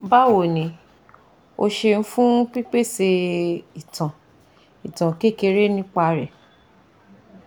Bawo ni, o seun fun pipese itan itan kekere nipa re